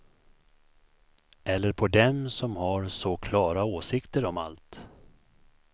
Eller på dem som har så klara åsikter om allt.